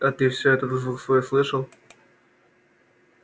а ты всё этот звук свой слышал